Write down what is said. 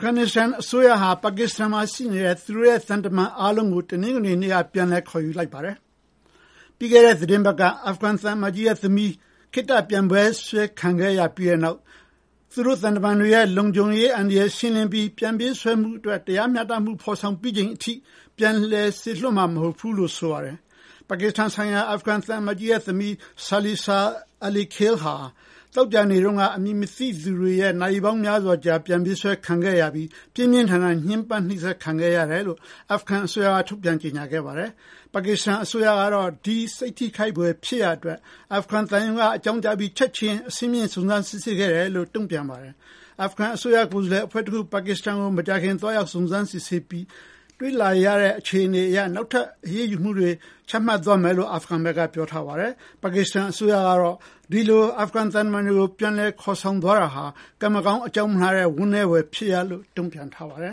ဂန်နစ္စတန် အစိုးရဟာ ပါကစ္စတန်မှာရှိနေတဲ့ သူတို့ရဲ့ သံတမန်အားလုံးကို တနင်္ဂနွေနေ့က ပြန်လည် ခေါ်ယူလိုက်ပါတယ်။ ပြီးခဲ့တဲ့ သီတင်းပတ်က အာဖဂန်သံအမတ်ကြီးရဲ့သမီး ခေတ္တ ပြန်ပေးဆွဲ ခံခဲ့ရပြီးတဲ့နောက် သူတို့သံတမန်တွေရဲ့ လုံခြုံရေးအန္တရာယ်ကို ရှင်းလင်းပြီး ပြန်ပေးဆွဲမှုအတွက် တရားမျှတမှု ဖော်ဆောင်ပြီးချိန်ထိ ပြန်လည်စေလွှတ်မှာ မဟုတ်ဘူးလို့လည်း ဆိုပါတယ်။ ပါကစ္စတန်ဆိုင်ရာ အာဖဂန်သံအမတ်ကြီးရဲ့သမီး Silsila Alikhil ဟာ သောကြာနေ့တုန်းက အမည်မသိသူတွေရဲ့ နာရီပေါင်းများစွာကြာ ပြန်ပေးဆွဲခံခဲ့ရပြီး ပြင်းပြင်းထန်ထန် ညှင်းပန်းနှိပ်စက်ခံခဲ့ရတယ်လို့ အာဖဂန်အစိုးရက ထုတ်ပြန် ကြေညာခဲ့ပါတယ်။ ပါကစ္စတန်အစိုးရကတော့ ဒီ စိတ်ထိခိုက်ဖွယ် ဖြစ်ရပ်အတွက် အာဖဂန်သံရုံးက အကြောင်းကြားပြီး ချက်ချင်း အဆင့်မြင့် စုံစမ်းစစ်ဆေးခဲ့တယ်လို့ ဆိုပါတယ်။ အာဖဂန်ကိုယ်စားလှယ်အဖွဲ့တခု ပါကစ္စတန်ကို မကြာခင် သွားရောက် စုံစမ်းစစ်ဆေးပြီး တွေ့ရှိရတဲ့ အခြေအနေအရ နောက်ထပ် အရေးယူ ဆောင်ရွက်သွားမယ်လို့ ဆိုပါတယ်။ ပါကစ္စတန်အစိုးရကတော့ ဒီလို အာဖဂန်သံတမန်တွေကို ပြန်ခေါ်သွားတာဟာ ကံမကောင်း အကြောင်းမလှစွာနဲ့ ဝမ်းနည်းဖွယ်ကောင်းတဲ့ လုပ်ရပ်လို့ တုံ့ပြန်ထားပါတယ